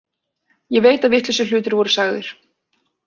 Ég veit að vitlausir hlutir voru sagðir.